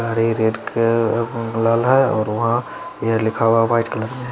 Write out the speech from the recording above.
हरे red uh लाल है और वहां ये लिखा हुआ व्हाईट कलर में।